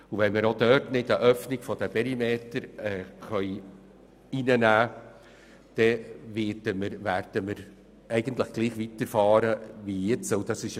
Und sollten wir auch dort keine Öffnung der Perimeter aufnehmen können, dann werden wir weiterfahren wie bisher.